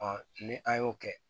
ni an y'o kɛ